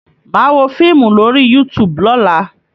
Màá wo fíìmù lórí YouTube lọ́la.